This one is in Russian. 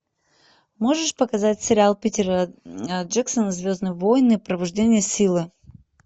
можешь показать сериал питера джексона звездные войны пробуждение силы